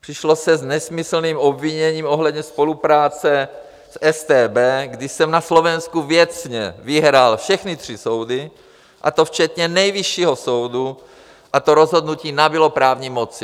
Přišlo se s nesmyslným obviněním ohledně spolupráce s StB, když jsem na Slovensku věcně vyhrál všechny tři soudy, a to včetně Nejvyššího soudu, a to rozhodnutí nabylo právní moci.